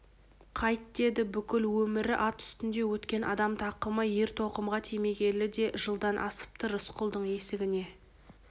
қайт деді бүкіл өмірі ат үстінде өткен адам тақымы ер-тоқымға тимегелі де жылдан асыпты рысқұлдың есігіне